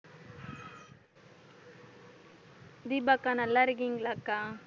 தீபா அக்கா நல்லா இருக்கீங்களாக்கா?